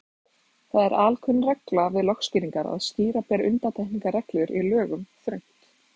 Það er alkunn regla við lögskýringar að skýra ber undantekningarreglur í lögum þröngt.